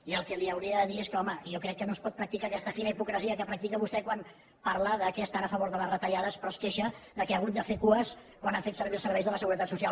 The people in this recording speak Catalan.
i el que li hauria de dir és que home jo crec que no es pot practicar aquesta fina hipocresia que practica vostè quan parla que estan a favor de les retallades però que es queixa que ha hagut de fer cues quan ha fet servir els serveis de la seguretat social